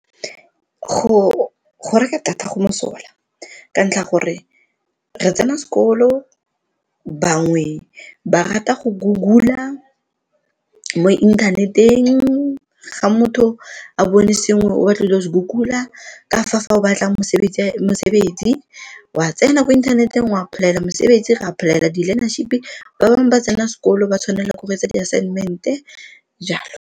Go reka data go mosola ka ntlha ya gore re tsena sekolo, bangwe ba rata go Google-a mo inthaneteng fa motho a bone sengwe o batla go ile go se Google-a. Fa o batla mosebetsi wa tsena ko inthaneteng wa apply-ela mosebetsi, o a apply-ela di-learnership, ba bangwe ba tsena sekolo ba tshwanela ke go etsa di assignment-e jalo.